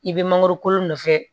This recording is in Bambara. I bɛ mangoro kolo nɔfɛ